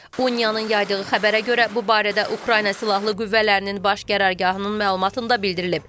UNIAN-ın yaydığı xəbərə görə bu barədə Ukrayna Silahlı Qüvvələrinin Baş Qərargahının məlumatında bildirilib.